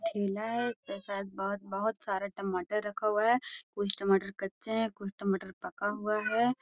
ठेला हेय उस पर शायद बहुत बहुत सारे टमाटर रखा हुआ है कुछ टमाटर कच्चे हैं कुछ टमाटर पका हुआ हैं।